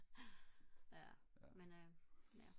ja men øh ja